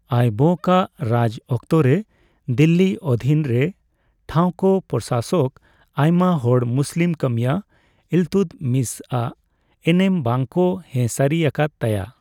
ᱟᱭᱵᱚᱠ ᱟᱜ ᱨᱟᱡᱽ ᱚᱠᱛᱚᱨᱮ ᱫᱤᱞᱞᱤ ᱚᱫᱷᱤᱱᱨᱮ ᱴᱷᱟᱣ ᱠᱚ ᱯᱚᱨᱥᱟᱥᱚᱠ ᱟᱭᱢᱟ ᱦᱚᱲ ᱢᱩᱥᱞᱤᱢ ᱠᱟᱹᱢᱤᱭᱟᱹ ᱤᱞᱛᱩᱫᱢᱤᱥ ᱟᱜ ᱮᱱᱮᱢ ᱵᱟᱝ ᱠᱚ ᱦᱮᱸ ᱥᱟᱹᱨᱤ ᱟᱠᱟᱫ ᱛᱟᱭᱟ ᱾